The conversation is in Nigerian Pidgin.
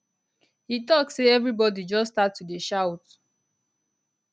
e tok say evribodi just start to dey shout